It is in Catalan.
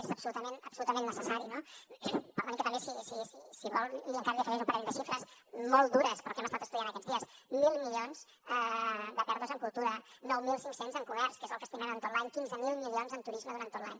és absolutament necessari no que també si vol encara li afegeixo un parell de xifres molt dures però que hem estat estudiant aquests dies mil milions de pèrdues en cultura nou mil cinc cents en comerç que és el que estimem en tot l’any quinze mil milions en turisme durant tot l’any